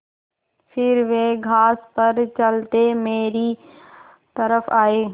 फिर वे घास पर चलते मेरी तरफ़ आये